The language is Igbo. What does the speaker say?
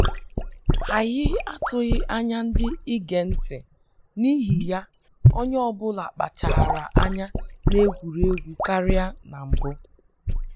Anyị atụghị anya ndị ige ntị, n'ihi ya onye ọ bụla kpachaara anya na egwuregwu karịa na mbụ